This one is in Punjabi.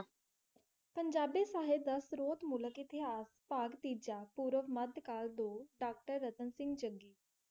ਪੰਜਾਬੀ ਸਹਿਤ ਦਾ ਸਰੋਤ ਮੂਲਕ ਇਤਿਹਾਸ ਭਾਗ ਤੀਜਾ, ਪੂਰਬ ਮੱਧ ਕਾਲ ਦੋ doctor ਰਤਨ ਸਿੰਘ ਜੱਗੀ